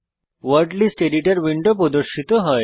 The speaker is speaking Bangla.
ওয়ার্ড লিস্ট এডিটর উইন্ডো প্রদর্শিত হয়